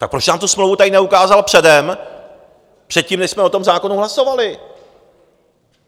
Tak proč nám tu smlouvu tady neukázal předem, předtím, než jsme o tom zákonu hlasovali?